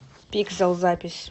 пиксэл запись